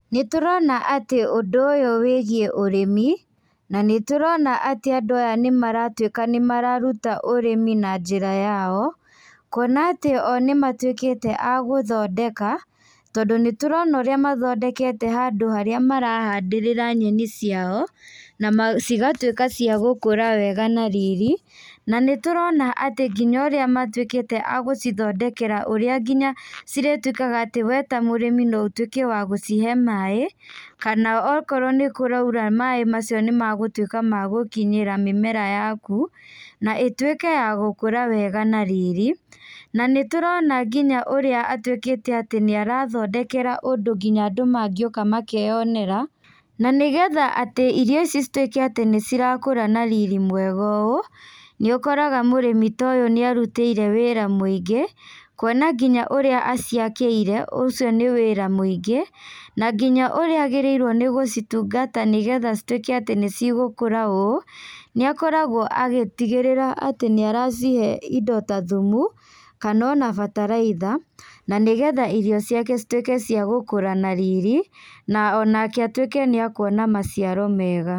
Nĩ turona atĩ ũndũ ũyũ wĩgiĩ ũrĩmi, na nĩ turona atĩ andũ aya nĩ maratuĩka nĩ mararuta ũrĩmi na njĩra yao, kuona atĩ o nĩ matuĩkĩte a gũthondeka, tondũ nĩ turona ũrĩa mathondekete handũ harĩa marahandĩrĩra nyeni ciao, na cigatuĩka cia gũkũra wega na riri, na nĩ turona atĩ nginya ũrĩa matuĩkĩte a gũcithondekera ũrĩa nginya cirĩtuĩkaga atĩ we ta mũrĩmi no utuĩke wa gũcihe maĩ, kana okorwo nĩ kũraira maĩ macio nĩ megũtuĩka magũkinyĩra mĩmera yaku, na ĩtuĩke ya gũkũra wega na riri, na nĩ turano nginya ũrĩa atuĩkĩte atĩ nĩ arathondekera ũndũ nginya andũ mangĩũka makeyonera, na nĩgetha atĩ irio ici cituĩke atĩ nĩ cirakũra na riri mwega ũũ, nĩ ũkoraga mũrĩmi ta ũyũ nĩ arutĩire wĩra mũingĩ kuona nginya ũrĩa aciakĩire, ũcio nĩ wĩra mwĩingĩ, na nginya ũrĩa agĩrĩrwo nĩ gũcitungata nĩgetha cituĩke atĩ nĩ cigũkũra ũũ, nĩ akoragwo agĩtigĩrĩra atĩ nĩ aracihe indo ta thumu, kana ona bataraitha, na nĩ getha irio ciake cituĩke ciagũkũra na riri, na onake atuĩke nĩ ekuona maciaro mega.